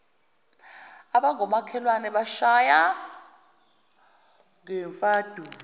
abangomakhelwane bamshaya ngezimfaduko